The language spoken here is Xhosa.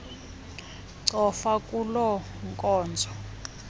cofa kuloo nkonzo